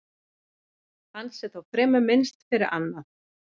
Hans er þó fremur minnst fyrir annað.